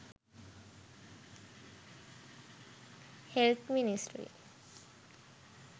health ministry